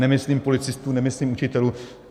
Nemyslím policistů, nemyslím učitelů.